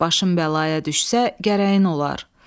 Başım bəlaya düşsə gərəyin olar.